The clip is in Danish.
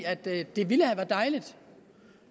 at det ville have været dejligt